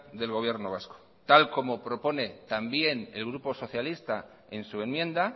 del gobierno vasco tal como propone también el grupo socialista en su enmienda